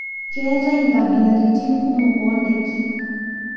keetae nkabilaritin kumok o ndaiki